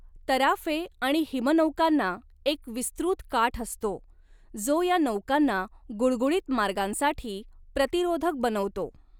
तराफे आणि हिमनौकांना एक विस्तृत काठ असतो, जो या नौकांना गुळगुळीत मार्गांसाठी प्रतिरोधक बनवतो.